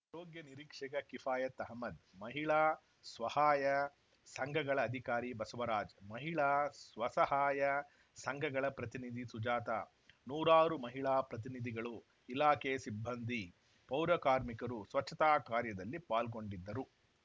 ಆರೋಗ್ಯ ನಿರೀಕ್ಷಕ ಕಿಫಾಯತ್‌ ಅಹಮ್ಮದ್‌ ಮಹಿಳಾ ಸ್ವಹಾಯ ಸಂಘಗಳ ಅಧಿಕಾರಿ ಬಸವರಾಜ್‌ ಮಹಿಳಾ ಸ್ವಸಹಾಯ ಸಂಘಗಳ ಪ್ರತಿನಿಧಿ ಸುಜಾತ ನೂರಾರು ಮಹಿಳಾ ಪ್ರತಿನಿಧಿಗಳು ಇಲಾಖೆ ಸಿಬ್ಬಂದಿ ಪೌರಕಾರ್ಮಿಕರು ಸ್ವಚ್ಛತಾ ಕಾರ್ಯದಲ್ಲಿ ಪಾಲ್ಗೊಂಡಿದ್ದರು